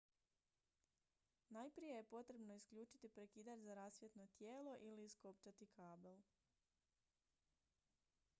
najprije je potrebno isključiti prekidač za rasvjetno tijelo ili iskopčati kabel